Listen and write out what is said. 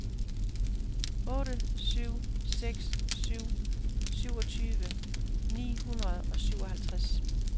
otte syv seks syv syvogtyve ni hundrede og syvoghalvtreds